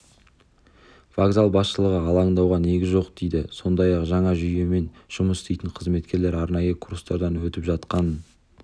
вокзал басшылығы алаңдауға негіз жоқ дейді сондай-ақ жаңа жүйемен жұмыс істейтін қызметкерлер арнайы курстардан өтіп жатқанын